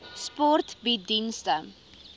sport bied dienste